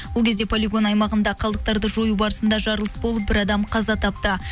ол кезде полигон аймағында қалдықтарды жою барысында жарылыс болып бір адам қаза тапты